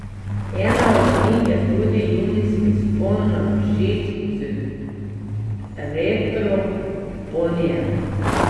Ena od njih je tudi junijski vzpon na Vršič z retro ponijem.